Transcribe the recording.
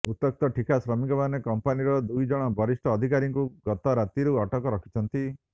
ଉତ୍ତ୍ୟକ୍ତ ଠିକା ଶ୍ରମିକମାନେ କମ୍ପାନୀର ଦୁଇଜଣ ବରିଷ୍ଠ ଅଧିକାରୀଙ୍କୁ ଗତରାତିରୁ ଅଟକ ରଖିଛନ୍ତି